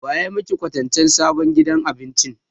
Wa ya maki kwatancen sabon gidan abincin?